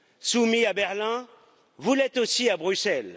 Soumis à Berlin, vous l'êtes aussi à Bruxelles.